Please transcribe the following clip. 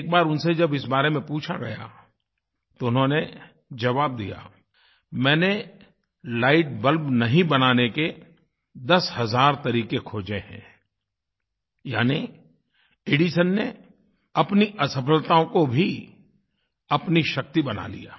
एक बार उनसे जब इस बारे में पूछा गया तो उन्होंने जवाब दिया मैंने लाइट बल्ब नहीं बनाने के दस हज़ार तरीक़े खोज़े हैं यानि एडिसन ने अपनी असफलताओं को भी अपनी शक्ति बना लिया